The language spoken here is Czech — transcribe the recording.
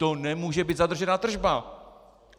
To nemůže být zadržená tržba.